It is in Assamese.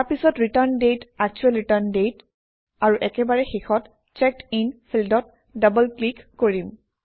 তাৰপিছত return date actual return date আৰু একেবাৰে শেষত চেক্ড ইন ফিল্ডত ডবল ক্লিক কৰিম